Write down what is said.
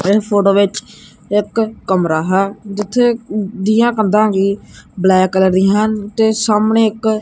ਇਹ ਫੋਟੋ ਵਿੱਚ ਇੱਕ ਕਮਰਾ ਹੈ ਜਿੱਥੇ ਦੀਆਂ ਕੰਧਾਂ ਵੀ ਬਲੈਕ ਕਲਰ ਦੀ ਹੈ ਤੇ ਸਾਹਮਣੇ ਇੱਕ--